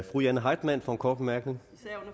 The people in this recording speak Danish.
fru jane heitmann for en kort bemærkning